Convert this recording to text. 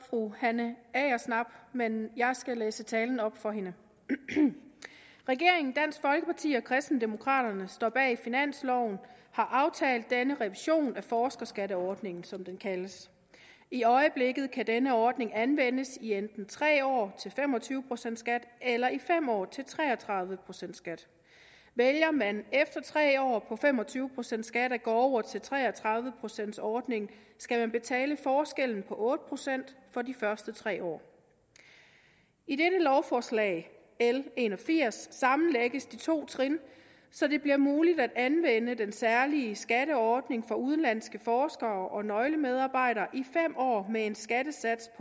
fru hanne agersnap men jeg skal læse talen op for hende regeringen dansk folkeparti og kristendemokraterne står bag finansloven og har aftalt denne revision af forskerskatteordningen som den kaldes i øjeblikket kan denne ordning anvendes i enten tre år til fem og tyve procent skat eller i fem år til tre og tredive procent skat vælger man efter tre år på fem og tyve procent skat at gå over til tre og tredive procents ordningen skal man betale forskellen på otte procent for de første tre år i dette lovforslag l en og firs sammenlægges de to trin så det bliver muligt at anvende den særlige skatteordning for udenlandske forskere og nøglemedarbejdere i fem år med en skattesats